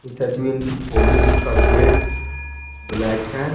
Inter college का gate black है।